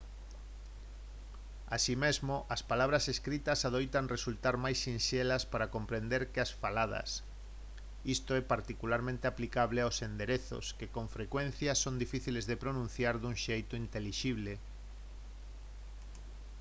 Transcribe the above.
así mesmo as palabras escritas adoitan resultar máis sinxelas para comprender que as faladas isto é particularmente aplicable aos enderezos que con frecuencia son difíciles de pronunciar dun xeito intelixible